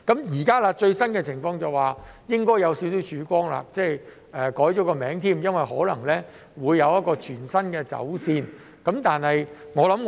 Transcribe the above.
現時最新的情況是應該有些少曙光，名稱亦更改了，因為可能會有全新的走線。